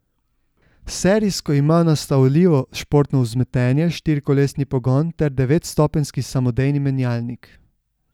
Serijsko ima nastavljivo športno vzmetenje, štirikolesni pogon ter devetstopenjski samodejni menjalnik.